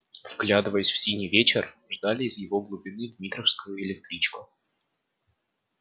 вглядывались в синий вечер ждали из его глубины дмитровскую электричку